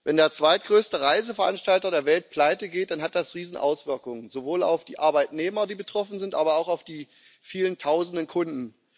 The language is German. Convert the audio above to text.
Wenn der zweitgrößte Reiseveranstalter der Welt pleitegeht, dann hat das Riesenauswirkungen sowohl auf die Arbeitnehmer, die betroffen sind, als auch auf die vielen Tausenden Kunden.